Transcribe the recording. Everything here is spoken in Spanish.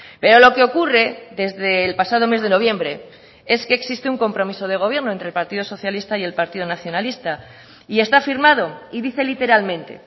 pero lo que ocurre desde el pasado mes de noviembre es que existe un compromiso de gobierno entre el partido socialista y el partido nacionalista y está firmado y dice literalmente